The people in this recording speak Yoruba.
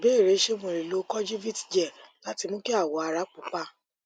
ìbéèrè ṣé mo lè mo lè lo kojivit gel láti mú kí awọ ara pupa